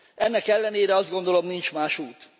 Ennek ellenére azt gondolom, nincs más út.